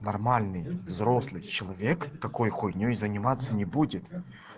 нормальный взрослый человек такой хуйней заниматься не будет